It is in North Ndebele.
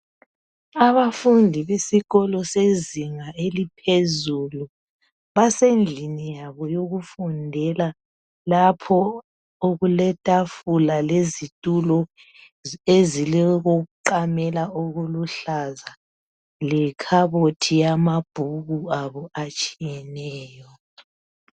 Abafundi besikolo sezinga eliphezulu basendlini yabo yokufundela lapho okuletafula lezitulo ezilokokuqamela okuluhlaza lekhabothi eyamabhuku abo atshiyeneyo.